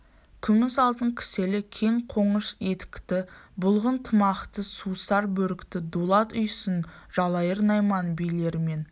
күміс алтын кіселі кең қоныш етікті бұлғын тымақты сусар бөрікті дулат үйсін жалайыр найман билерімен